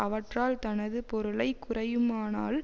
அவற்றால் தனது பொருளை குறையுமானால்